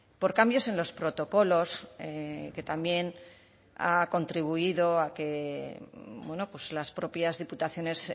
por cambios en los protocolos que también ha contribuido a que las propias diputaciones